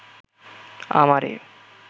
আমারে